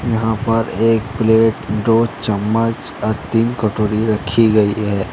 यहां पर एक प्लेट दो चम्मच और तीन कटोरी रखी गई है।